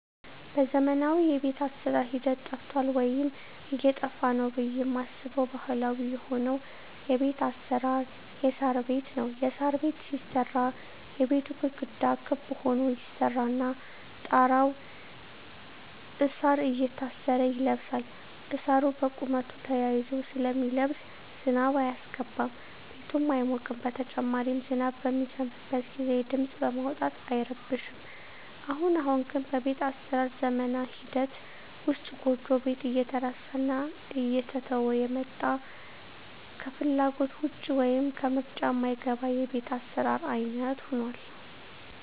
በዘመናዊ የቤት አሰራር ሂደት ጠፍቷል ወይም እየጠፋ ነው ብየ ማስበው ባህላዊ የሆነው የቤት አሰራር የሳር ቤት ነው። የሳር ቤት ሲሰራ የቤቱ ግድግዳ ክብ ሁኖ ይሰራና ጣራው እሳር እየታሰረ ይለብሳል እሳሩ በቁመቱ ተያይዞ ስለሚለብስ ዝናብ አያስገባም ቤቱም አይሞቅም በተጨማሪም ዝናብ በሚዘንብበት ግዜ ድምጽ በማውጣት አይረብሽም። አሁን አሁን ግን በቤት አሰራር ዝመና ሂደት ውስጥ ጎጆ ቤት እየተረሳና እየተተወ የመጣ ከፍላጎት ውጭ ወይም ከምርጫ ማይገባ የቤት አሰራር አይነት ሁኗል።